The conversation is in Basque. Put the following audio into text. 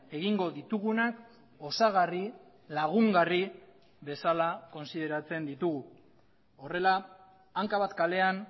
egingo ditugunak osagarri lagungarri bezala kontsideratzen ditugu horrela hanka bat kalean